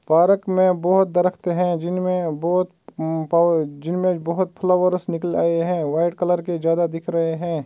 Park में बहुत दरख्त हैं जिनमें बहुत फ़ौ उ म जिनमे बहुत फ्लावरस निकले है वाइट कलर के ज्यादा दिख रहे हैं।